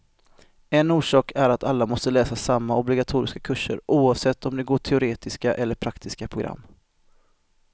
En orsak är att alla måste läsa samma obligatoriska kurser, oavsett om de går teoretiska eller praktiska program.